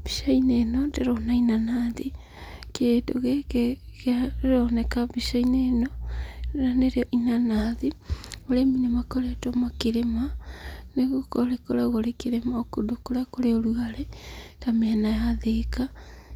Mbica-inĩ ĩno ndĩrona inanathi, kĩndũ gĩkĩ kĩroneka mbicainĩ ĩno rĩu nĩrĩo inanathi, arĩmi nĩmakoretwo makĩrĩma nĩguo rĩkoragwo kũndũ kũrĩa kũrĩ ũrugarĩ ta mĩena ya Thĩka